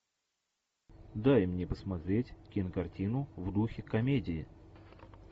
дай мне посмотреть кинокартину в духе комедии